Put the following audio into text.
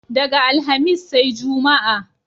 Daga Alhamis sai Juma'a.